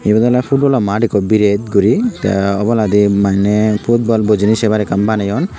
ebane olay futbolo mat eko birat gori tay obolaydi manay futbal bojinaye sebar ekan banayone.